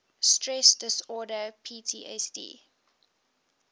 stress disorder ptsd